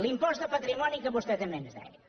l’impost de patrimoni que vostè també ens deia